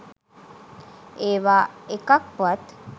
ඒවා එකක්වත්